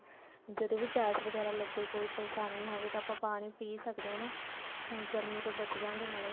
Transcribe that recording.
ਜਦੋਂ ਵੀ ਪਿਆਸ ਵਗੈਰਾ ਲੱਗੇ ਕੋਈ ਪਰੇਸ਼ਾਨੀ ਹੋਵੇ ਆ ਤਾਂ ਆਪਾਂ ਪਾਣੀ ਪੀ ਸਕਦੇ ਆ ਨਾ ਗਰਮੀ ਤੋਂ ਬਚ ਜਾਵਾਂਗੇ ਨਾਲੇ